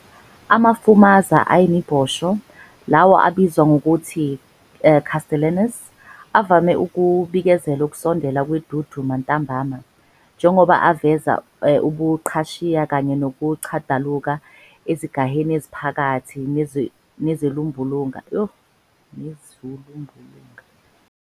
Amafumaza ayimibhosho, lawo abizwa ngokuthi "castellanus", avame ukubikezela ukusondela kwenduduma ntambama, njengoba aveza ubuqhashiya kanye nokuchadaluka ezigaheni eziphakathi nezulumbulunga, okuyindqwo lapho amafufu ephenduka khona amafenala.